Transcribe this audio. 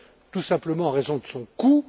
Tout simplement en raison de son coût.